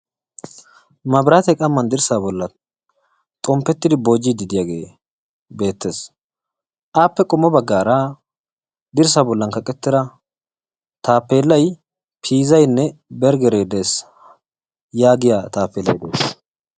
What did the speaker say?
Mabraate qamman dirssa bollan xomppetidi boojjiidi diyagee beettes. Appe qommo baggara dirssa bollan kaqettida tappeellay piizaynne berggeree de'ees yaagiya taappellay de'ees.